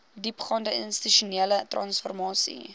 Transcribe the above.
diepgaande institusionele transformasie